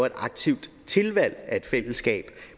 et aktivt tilvalg af et fællesskab